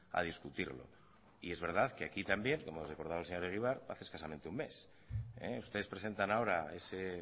a discutirlo es verdad que aquí también como recordaba el señor egibar hace escasamente un mes ustedes presentan ahora ese